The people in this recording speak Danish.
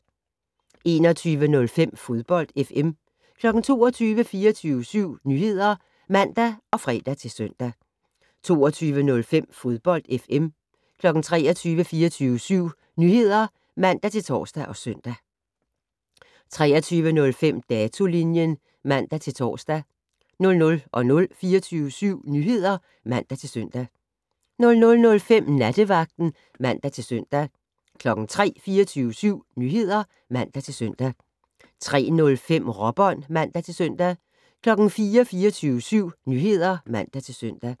21:05: Fodbold FM 22:00: 24syv Nyheder (man og fre-søn) 22:05: Fodbold FM 23:00: 24syv Nyheder (man-tor og søn) 23:05: Datolinjen (man-tor) 00:00: 24syv Nyheder (man-søn) 00:05: Nattevagten (man-søn) 03:00: 24syv Nyheder (man-søn) 03:05: Råbånd (man-søn) 04:00: 24syv Nyheder (man-søn)